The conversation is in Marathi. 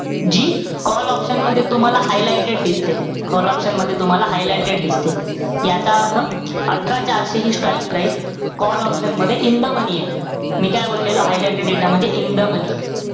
जी call option मध्ये तुम्हाला highlighted दिसते. Call option मध्ये तुम्हाला highlighted दिसते. याचा अर्थ अठरा चारशे हि strike price call option मध्ये in the money ए. मी काय बोललेलो, highlighted data मध्ये in the money